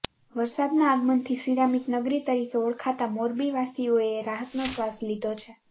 વરસાદના આગમનથી સિરામિક નગરી તરીકે ઓળખાતા મોરબીવાસીઓએ રાહતનો શ્વાસ લીધો છે